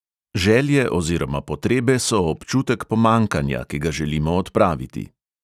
Želje oziroma potrebe so občutek pomanjkanja, ki ga želimo odpraviti.